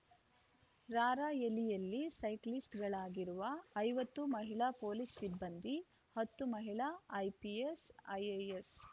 ರಾರ‍ಯಲಿಯಲ್ಲಿ ಸೈಕ್ಲಿಸ್ಟ್‌ಗಳಾಗಿರುವ ಐವತ್ತು ಮಹಿಳಾ ಪೊಲೀಸ್‌ ಸಿಬ್ಬಂದಿ ಹತ್ತು ಮಹಿಳಾ ಐಪಿಎಸ್‌ ಐಎಎಸ್‌